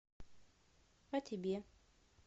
а тебе